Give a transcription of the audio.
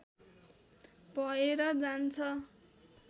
भएर जान्छ